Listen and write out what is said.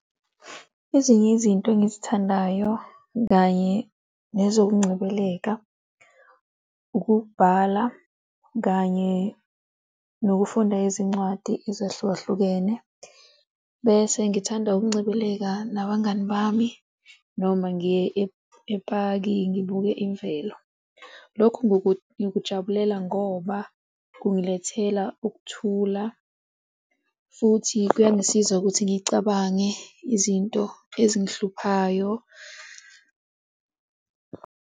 Ezinye izinto engizithandayo kanye nezokungcebeleka, ukubhala kanye nokufunda izincwadi ezahlukahlukene. Bese ngithanda ukungcebeleka nabangani bami noma ngiye epaki ngibuke imvelo lokhu ngikujabulela ngoba kungilethela ukuthula futhi kuyangisiza ukuthi ngicabange izinto ezingihluphayo.